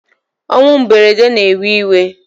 Onwu mberede na ewe iwe